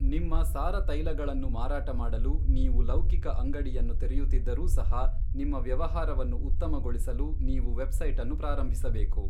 ನಿಮ್ಮ ಸಾರ ತೈಲಗಳನ್ನು ಮಾರಾಟ ಮಾಡಲು ನೀವು ಲೌಕಿಕ ಅಂಗಡಿಯನ್ನು ತೆರೆಯುತ್ತಿದ್ದರೂ ಸಹ, ನಿಮ್ಮ ವ್ಯವಹಾರವನ್ನು ಉತ್ತಮಗೊಳಿಸಲು ನೀವು ವೆಬ್ಸೈಟನ್ನು ಪ್ರಾರಂಭಿಸಬೇಕು.